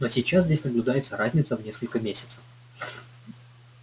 но сейчас здесь наблюдается разница в несколько месяцев